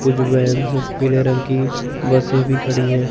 कुछ वैंस हैं पीले रंग की बसें भी खड़ी हैं।